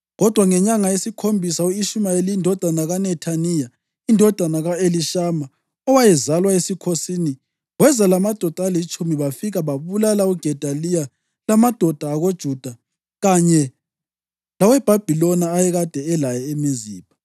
Kodwa ngenyanga yesikhombisa u-Ishumayeli indodana kaNethaniya, indodana ka-Elishama, owayezalwa esikhosini, weza lamadoda alitshumi bafika babulala uGedaliya lamadoda akoJuda kanye laweBhabhiloni ayekade elaye eMizipha.